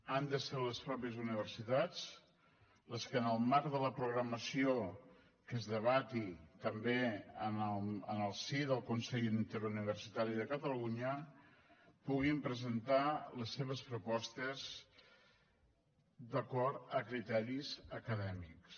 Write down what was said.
han de ser les mateixes universitats les que en el marc de la programació que es debati també en el si del consell interuniversitari de catalunya puguin presentar les seves propostes d’acord amb criteris acadèmics